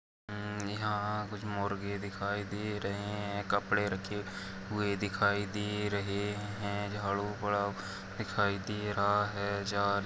यहाँ कुछ मुर्गे दिखाई दे रही है कपड़े रखे हुए दिखाई दे रहे हैं झाड़ू पड़ा दिखाई दे रहा है ।